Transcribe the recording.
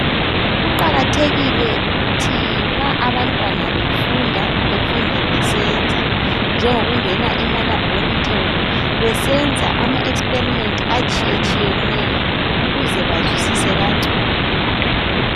Kuqakathekile ukuthi ma abantwana befunda, befunde besenza ,njengokungena emalabhorethori besenza ama experiment atshiyetshiyeneyo ukuze bazwisise kangcono.